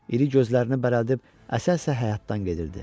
İri gözlərini bərəldib əsə-əsə həyətdən gedirdi.